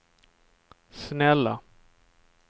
snälla